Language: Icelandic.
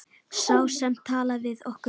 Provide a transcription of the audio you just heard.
Sá sem talaði við okkur.